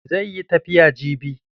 Zai yi tafiya jibi.